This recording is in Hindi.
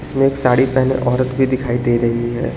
में एक साड़ी पहने औरत भी दिखाई दे रही है।